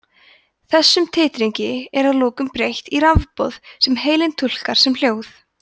þessum titringi er að lokum breytt í rafboð sem heilinn túlkar sem hljóð